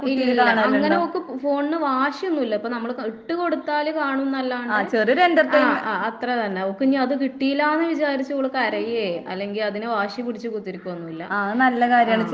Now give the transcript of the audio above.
ഇല്ലില്ലില്ല. അങ്ങനോക്ക് പ് ഫോൺന് വാശിയൊന്നും ഇല്ല. ഇപ്പ നമ്മള് ഇട്ട് കൊടുത്താല് കാണുംന്നല്ലാണ്ട് ആഹ് ആഹ് അത്രതന്നെ. ഓക്കിന്നിയത് കിട്ടീല്ലാന്ന് വിചാരിച്ചോള് കരയ്യേ അല്ലെങ്കി അതിന് വാശി പിടിച്ച് കിത്തീരിക്കുവൊന്നുവില്ല. ആഹ്.